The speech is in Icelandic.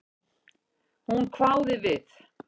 Hún hváði við.